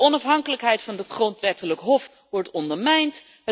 De onafhankelijkheid van het Grondwettelijk Hof wordt ondermijnd.